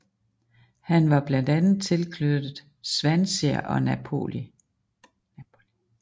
Han var blandt andet tilknyttet Swansea og Napoli